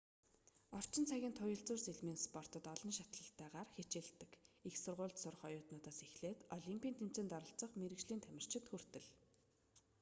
орчин цагын туяалзуур сэлмийн спортод олон шатлалтайгаар хичээллдэг их сургуульд сурах оюутнуудаас эхлээд олимпийн тэмцээнд оролцох мэргэжлийн тамирчид хүртэл